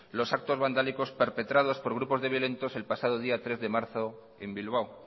los actos vandálicos perpetrados por grupos de violentos el pasado día tres de marzo en bilbao